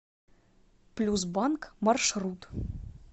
плюс банк маршрут